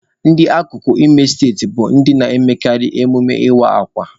Ndị akụkụ Imo steeti bụ ndị na-emekarị emume ịwa akwa.